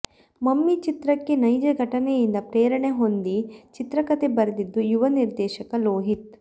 mummy ಚಿತ್ರಕ್ಕೆ ನೈಜ ಘಟನೆಯಿಂದ ಪ್ರೇರಣೆ ಹೊಂದಿ ಚಿತ್ರಕಥೆ ಬರೆದಿದ್ದು ಯುವ ನಿರ್ದೇಶಕ ಲೋಹಿತ್